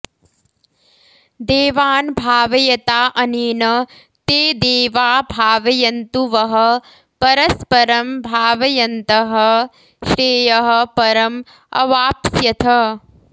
देवान् भावयता अनेन ते देवा भावयन्तु वः परस्परं भावयन्तः श्रेयः परम् अवाप्स्यथ